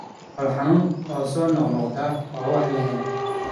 Calool xanuun oo soo noqnoqda waa wax la helay.